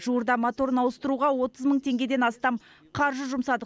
жуырда моторын ауыстыруға отыз мың теңгеден астам қаржы жұмсадық